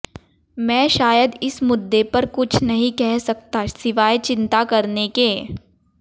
मैं शायद इस मुद्दे पर कुछ नहीं कह सकता सिवाय चिंता करने के